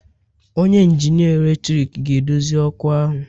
Onye injinia eletrik ga-edozi ọkụ ahu